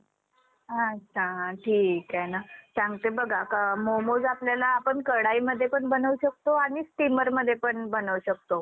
अच्छा ठीक आहे ना.सांगते बघा मोमोज आपल्याला आपण कढाईमध्ये पण बनवू शकतो. आणि steamer मध्ये पण बनवू शकतो.